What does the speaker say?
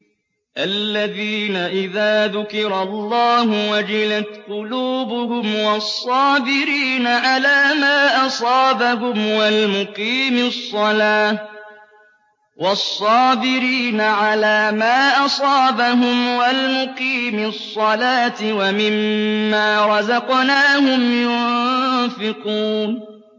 الَّذِينَ إِذَا ذُكِرَ اللَّهُ وَجِلَتْ قُلُوبُهُمْ وَالصَّابِرِينَ عَلَىٰ مَا أَصَابَهُمْ وَالْمُقِيمِي الصَّلَاةِ وَمِمَّا رَزَقْنَاهُمْ يُنفِقُونَ